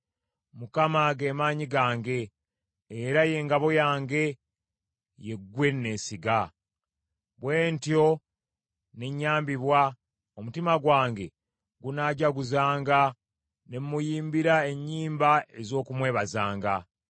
Mukama ge maanyi gange, era ye ngabo yange, ye gwe neesiga. Bwe ntyo ne nyambibwa. Omutima gwange gunaajaguzanga, ne mmuyimbira ennyimba ez’okumwebazanga.